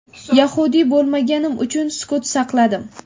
yahudiy bo‘lmaganim uchun sukut saqladim.